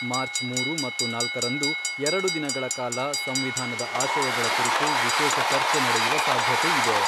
March ಮೂರು ಮತ್ತು ನಾಲ್ಕರಂದು ಎರಡು ದಿನಗಳ ಕಾಲ ,ಸಂವಿಧಾನದ ಆಶಯಗಳ ಕುರಿತು ವಿಶೇಷ ಚರ್ಚೆ ನಡೆಯುವ ಸಾಧ್ಯತೆ ಇದೆ.